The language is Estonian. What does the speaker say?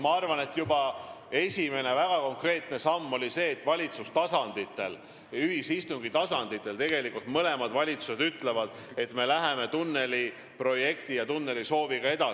Ma arvan, et esimene väga konkreetne samm on see, et valitsuste tasandil, ühisistungi tasandil on mõlemad valitsused öelnud, et me läheme tunneliprojekti ja -sooviga edasi.